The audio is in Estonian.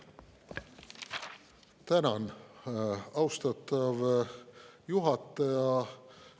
Tänan, austatav juhataja!